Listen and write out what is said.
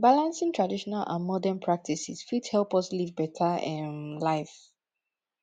balancing traditional and modern practices fit help us live beta um life